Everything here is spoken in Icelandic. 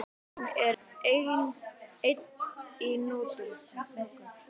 Hún er enn í notkun.